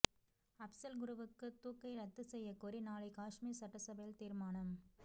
அப்சல் குருவுக்கு தூக்கை ரத்து செய்யக் கோரி நாளை காஷ்மீர் சட்டசபையில் தீர்மானம்